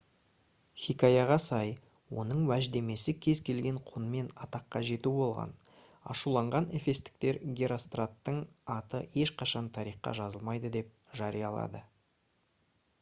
хикаяға сай оның уәждемесі кез келген құнмен атаққа жету болған ашуланған эфестіктер геростраттың аты ешқашан тарихқа жазылмайды деп жариялады